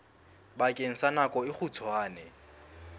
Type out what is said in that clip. bakeng sa nako e kgutshwane